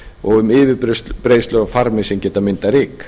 og um yfirbreiðslur á farmi sem getur myndað ryk